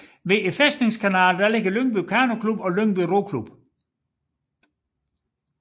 Ved Fæstningeskanalen ligger Lyngby Kanoklub og Lyngby Roklub